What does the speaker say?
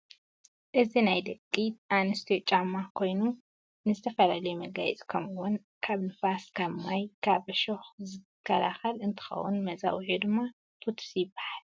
እዚ ናይ ደቂ ኣነስትዮ ጫማ ኮይኑ ንዝተፈላለየ መጋየፂ ከምኡ እውን ካብ ንፋስ ፣ካብ ማይ፣ ካብ ዕሾክ ዝከላለከል እንትኸውን መፀውዒኡ ድማ ቡቱስ ይበሃል፡፡